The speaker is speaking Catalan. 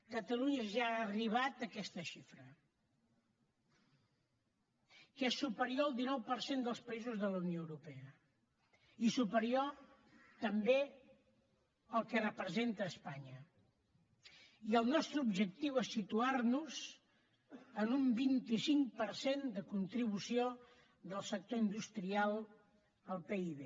catalunya ja ha arribat a aquesta xifra que és superior al dinou per cent dels països de la unió europea i superior també al que representa espanya i el nostre objectiu és situar nos en un vint cinc per cent de contribució del sector industrial al pib